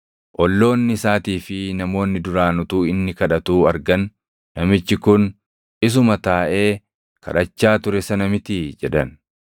Olloonni isaatii fi namoonni duraan utuu inni kadhatuu argan, “Namichi kun isuma taaʼee kadhachaa ture sana mitii?” jedhan.